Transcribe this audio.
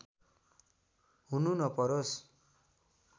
हुनु नपरोस्